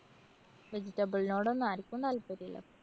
vegetable നോടൊന്നും ആര്‍ക്കും താല്‍പര്യല്ലാ.